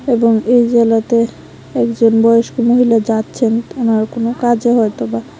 এবং এই জায়গাতে একজন বয়স্ক মহিলা যাচ্ছেন থানার কোনো কাজে হয়তো বা।